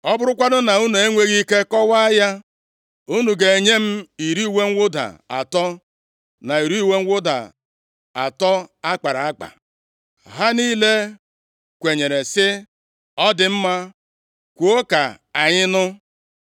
Ọ bụrụkwanụ na unu enweghị ike kọwaa ya, unu ga-enye m iri uwe mwụda atọ, na iri uwe mwụda atọ akpara akpa.” Ha niile kwenyere sị, “Ọ dị mma. Kwuo ka anyị nụ.”